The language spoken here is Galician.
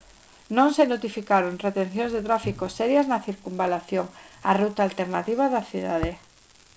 non se notificaron retencións de tráfico serias na circunvalación a ruta alternativa da cidade